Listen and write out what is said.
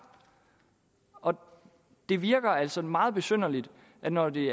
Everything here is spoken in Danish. og det virker altså meget besynderligt at når det